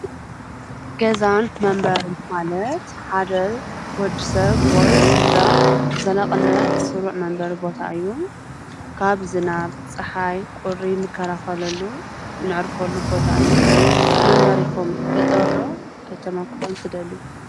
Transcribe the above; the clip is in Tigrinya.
ገዛን መንበርን ማለት ሓደ ወድሰብ ወይ ስድራ ብዘላቅነት ስሩዕ መንበሪ ቦታ እዩ ::ካብ ዝናብ፣ ፅሓይ ፣ቁሪ ንከላከለሉ ነዕርፈሉ ቦታ እዩ ።መንበሪኹም ገጠር ዶ ከተማ ክኾን ትደልዩ ?